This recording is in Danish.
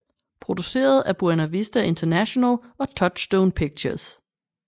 Produceret af Buena Vista International og Touchstone Pictures